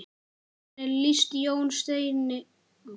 Hvernig líst Jóni Steini á?